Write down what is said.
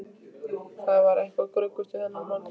Það var eitthvað gruggugt við þennan mann.